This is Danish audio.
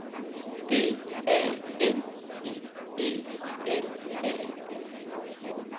D A N I E L A